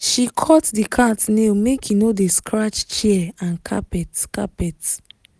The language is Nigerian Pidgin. she cut the cat nail make e no dey scratch chair and carpet. carpet.